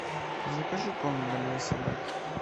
закажи корм для моей собаки